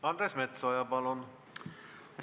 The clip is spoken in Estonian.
Andres Metsoja, palun!